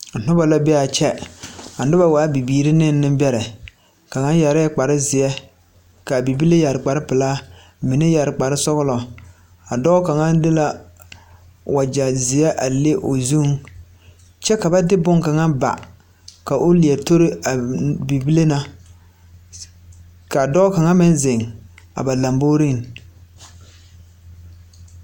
Noba la be a kyɛ a noba waa bibiiri ne nenbɛrɛ kaŋa yɛrɛɛ kparzeɛ k,a bibile yɛre kparpelaa mine yɛre kparsɔgla a dɔɔ kaŋa de la wagye zeɛ leŋ o zuŋ kyɛ ka ba de bone kaŋa ba ka o leɛ tori a bibile na ka dɔɔ kaŋa meŋ zeŋ a ba lamboriŋ.